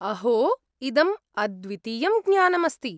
अहो! इदम् अद्वितीयं ज्ञानम् अस्ति।